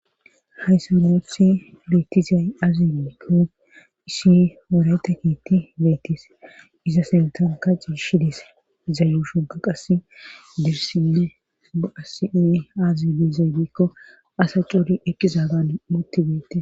Hayssa noothi beetizay azibikko isi morayta kiitti beetis iza sintan ka cishi dis zayu shunka qas dirsi ba7asii aazibi zaybekko asa cuuri eqqizaagan mutti beete.